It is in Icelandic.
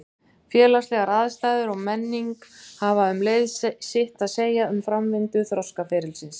Félagslegar aðstæður og menning hafa um leið sitt að segja um framvindu þroskaferilsins.